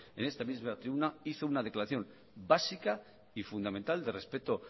en esta misma tribuna hizo una declaración básica y fundamental de respeto